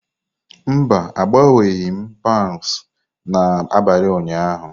Mba, agbanweghị m pound n'abalị ụnyaahụ.